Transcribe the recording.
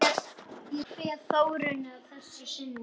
Ég kveð Þórunni að sinni.